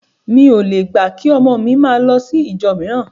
Mi ò le gbà kí ọmọ mi máa lọ sí ìjọ mìíràn